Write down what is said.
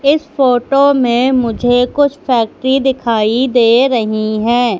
इस फोटो में मुझे कुछ फैक्ट्री दिखाई दे रही हैं।